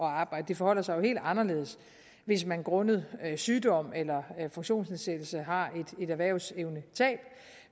arbejde det forholder sig jo helt anderledes hvis man grundet sygdom eller funktionsnedsættelse har et erhvervsevnetab